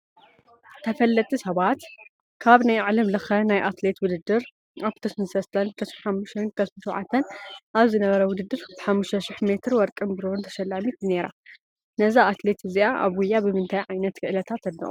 ተፈለጥቲ ሰባት፡- ካብ ናይ ዓለም ለኸ ናይ ኣትሌታት ውድድር ኣብ 2003፣2005ን 2007 ኣብ ዝነበረ ውድድር ብ5000ሜ ወርቅን ብርን ተሸላሚት ነይራ፡፡ ነዛ ኣትሌት እዚኣ ኣብ ጉያ ብምንታይ ዓይነት ክእለታ ተድንቑዋ?